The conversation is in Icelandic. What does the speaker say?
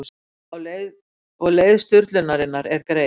Og leið sturlunarinnar er greið.